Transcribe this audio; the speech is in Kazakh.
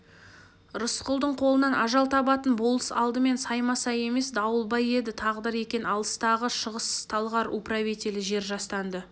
рысқұлдың қолынан ажал табатын болыс алдымен саймасай емес дауылбай еді тағдыр екен алыстағы шығыс-талғар управителі жер жастанды